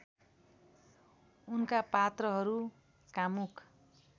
उनका पात्रहरू कामुक